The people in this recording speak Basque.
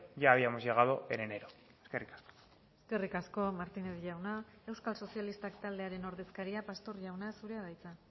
ya habíamos llegado en enero eskerrik asko eskerrik asko martínez jauna euskal sozialistak taldearen ordezkaria pastor jauna zurea da hitza